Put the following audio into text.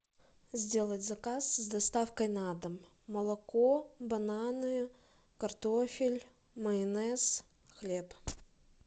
сделать заказ с доставкой на дом молоко бананы картофель майонез хлеб